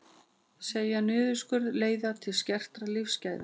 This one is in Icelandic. Segja niðurskurð leiða til skertra lífsgæða